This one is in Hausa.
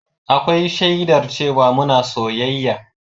Akwai shaidar cewa muna soyayya